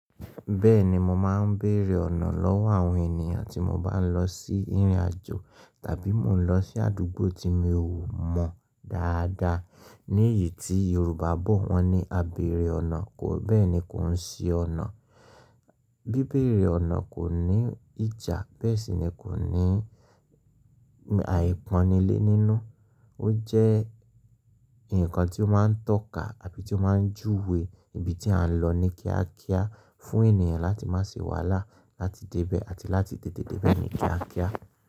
Bẹ́ẹ̀ni mo máa ń bèrè ọ̀nà lọ́wọ́ àwọn ènìyàn tí mo bá ń lọ sí ìrìnàjò tàbí mo ń lọ sí àdúgbò tí mi ò mọ dáadáa. Ní èyí tí Yorùbá bọ̀ wọ́n ní àbèrè ọ̀nà. Bẹ́ẹ̀ ni kò ń ṣe ọ̀nà. Bí bèrè ọ̀nà kò ní ìjà bẹ́ẹ̀ sì ni kò ní àìpọ́nilé nínú. Ó jẹ́ ǹkan tí ó máa ń tọ́ka àbí tí ó máa ń júwe ibi tí a ń lọ ní kíákíá fún ènìyàn láti má ṣe wàhálà láti débẹ̀ àti láti tètè débẹ̀ ní kíákíá.